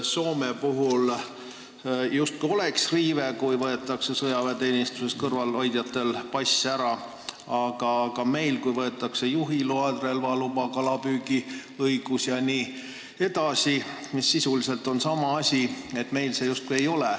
Soome puhul on see justkui riive, kui sõjaväeteenistusest kõrvale hoidjatel võetakse pass ära, aga meil see justkui ei ole põhiseaduse riive, kui võetakse ära juhiload, relvaluba, kalapüügiõigus jne, mis on sisuliselt sama asi.